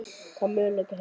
Hvaða möguleika hef ég?